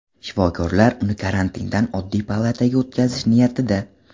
Shifokorlar uni karantindan oddiy palataga o‘tkazish niyatida.